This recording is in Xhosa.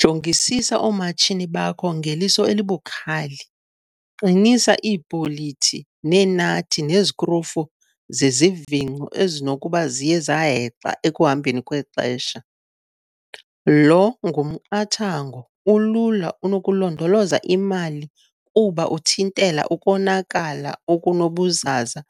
Jongisisa oomatshini bakho ngeliso elibukhali, qinisa iibholiti, neenathi nezikrufu zezivingco ezisenokuba ziye zahexa ekuhambeni kwexesha. Lo ngumqathango ulula unokulondoloza imali kuba uthintela ukonakala okunobuzaza